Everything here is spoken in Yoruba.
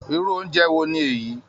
Irú oúnjẹ wo ni èyí?